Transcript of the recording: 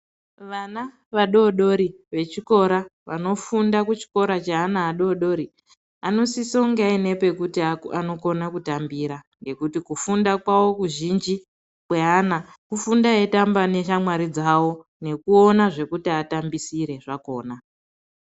Vana vadoodori vechikora vanofunda kuchikora cheana vadoodori anosiso kunge aine pekuti anokona kutambira ngekuti kufunda kwawo kuzhinji kweana kufunda eitamba neshamwari dzawo nekuona zvekuti atambisire zvakona.